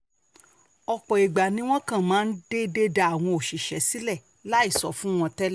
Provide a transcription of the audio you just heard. ọ̀pọ̀ ìgbà ni wọ́n kàn máa déédé dá àwọn òṣìṣẹ́ sílẹ̀ láì sọ fún wọn tẹ́lẹ̀